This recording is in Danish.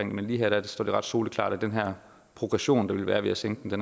men lige her står det soleklart at den her progression der vil være ved at sænke